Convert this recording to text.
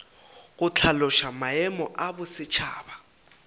go hlaloša maemo ya bosetšhaba